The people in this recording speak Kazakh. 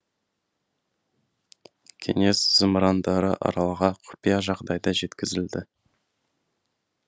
кеңес зымырандары аралға құпия жағдайда жеткізілді